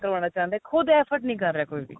ਲਵਾਣਾ ਚਾਉਂਦੇ ਏ ਖੁਦ effort ਨਹੀਂ ਕ਼ਰ ਰਿਹਾ ਕੋਈ ਵੀ